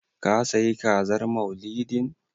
Ka sayi Kazar Maulidin?